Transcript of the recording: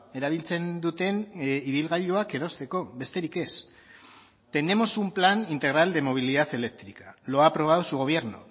erabiltzen duten ibilgailuak erosteko besterik ez tenemos un plan integral de movilidad eléctrica lo ha aprobado su gobierno